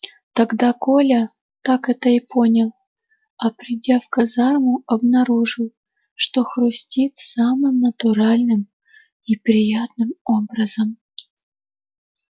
тогда коля так это и понял а придя в казарму обнаружил что хрустит самым натуральным и приятным образом